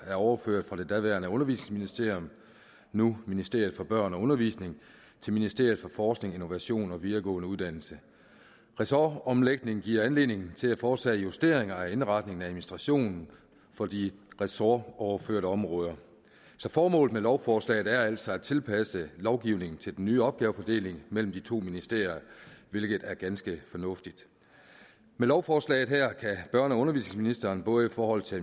er overført fra det daværende undervisningsministerium nu ministeriet for børn og undervisning til ministeriet for forskning innovation og videregående uddannelser ressortomlægningen giver anledning til at foretage justeringer af indretningen af administrationen for de ressortoverførte områder så formålet med lovforslaget er altså at tilpasse lovgivningen til den nye opgavefordeling mellem de to ministerier hvilket er ganske fornuftigt med lovforslaget her kan børne og undervisningsministeren både i forhold til